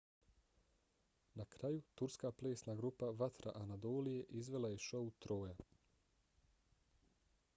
na kraju turska plesna grupa vatra anadolije izvela je šou troja